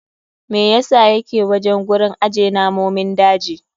Me yasa yake wajen gurin aje namomin daji?